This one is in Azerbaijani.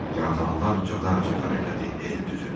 Yarğanlar cadar-cadar elədi el düzünü.